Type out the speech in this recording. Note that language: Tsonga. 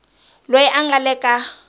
loyi a nga le ka